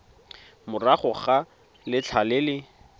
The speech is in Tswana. morago ga letlha le le